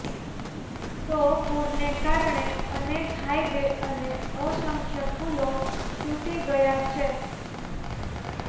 તો પુરને કારણે અનેક હાઈવે અને અસંખ્ય પુલો તૂટી ગયા છે